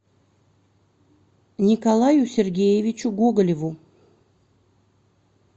николаю сергеевичу гоголеву